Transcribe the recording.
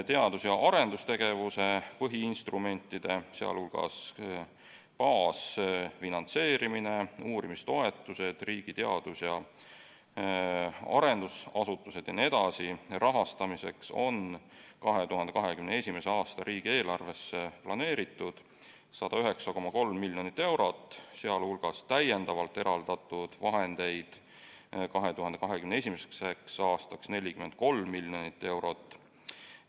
Teadus- ja arendustegevuse põhiinstrumentide, sh baasfinantseerimise, uurimistoetuste ning riigi teadus- ja arendusasutuste rahastamiseks on 2021. aasta riigieelarves planeeritud 109,3 miljonit eurot, sh täiendavalt eraldatud vahendeid 2021. aastaks 43 miljoni euro jagu.